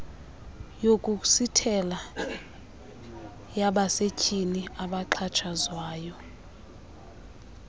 yokusithela yabasetyhini abaxhatshazwayo